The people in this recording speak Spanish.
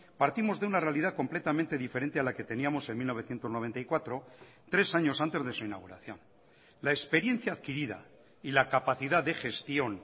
partimos de una realidad completamente diferente a la que teníamos en mil novecientos noventa y cuatro tres años antes de su inauguración la experiencia adquirida y la capacidad de gestión